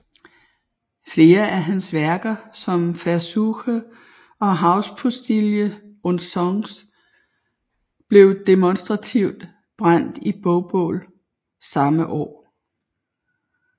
Flere af hans værker som Versuche og Hauspostille und Songs blev demonstrativt brændt i bogbål samme år